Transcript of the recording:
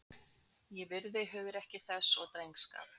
Ég virði hugrekki þess og drengskap.